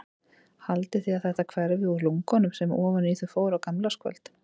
Haldið þið að þetta hverfi úr lungunum sem ofan í þau fór á gamlárskvöld?